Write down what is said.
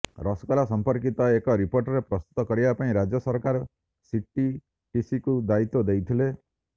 ରସଗୋଲା ସଂପର୍କିତ ଏକ ରିପୋର୍ଟ ପ୍ରସ୍ତୁତ କରିବା ପାଇଁ ରାଜ୍ୟ ସରକାର ସିଟିଟିସିକୁ ଦାୟିତ୍ୱ ଦେଇଥିଲେ